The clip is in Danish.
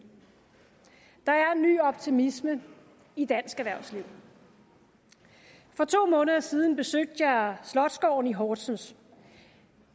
optimisme i dansk erhvervsliv for to måneder siden besøgte jeg slotsgården i horsens